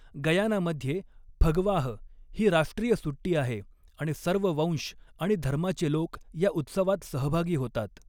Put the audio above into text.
गयानामध्ये फगवाह ही राष्ट्रीय सुट्टी आहे आणि सर्व वंश आणि धर्माचे लोक या उत्सवात सहभागी होतात.